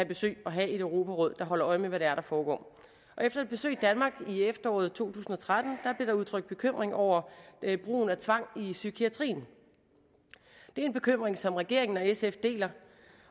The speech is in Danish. besøg af og have et europaråd der holder øje med hvad det er der foregår efter et besøg i danmark i efteråret to tusind og tretten blev der udtrykt bekymring over brugen af tvang i psykiatrien det er en bekymring som regeringen og sf deler